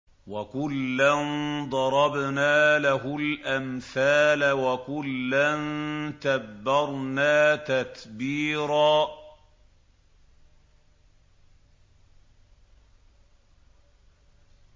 وَكُلًّا ضَرَبْنَا لَهُ الْأَمْثَالَ ۖ وَكُلًّا تَبَّرْنَا تَتْبِيرًا